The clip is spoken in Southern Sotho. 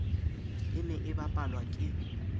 e ne e bapalwa ke